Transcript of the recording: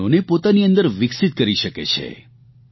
આ ગુણોને પોતાની અંદર વિકસીત કરી શકે છે